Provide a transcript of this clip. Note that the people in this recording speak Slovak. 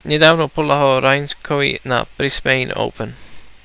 nedávno podľahol raonicovi na brisbane open